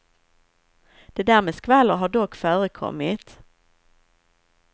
Det där med skvaller har dock förekommit.